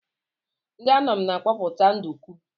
Ndị Anam na akọpụta nduku.